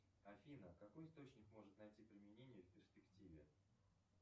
афина какой источник может найти применение в перспективе